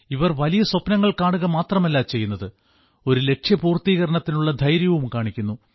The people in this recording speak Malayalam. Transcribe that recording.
ഇവർ വലിയ സ്വപ്നങ്ങൾ കാണുക മാത്രമല്ല ചെയ്യുന്നത് ആ ലക്ഷ്യപൂർത്തീകരണത്തിനുള്ള ധൈര്യവും കാണിക്കുന്നു